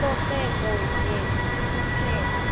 ucoceko yenye kuphela